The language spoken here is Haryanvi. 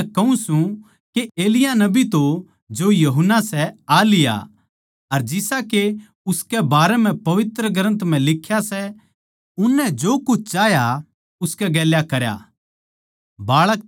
पर मै थमनै कहूँ सूं के एलिय्याह नबी तो जो यूहन्ना सै आ लिया अर जिसा के उसकै बारें म्ह पवित्र ग्रन्थ लिख्या सै उननै जो कुछ चाह्या उसकै गेल्या करया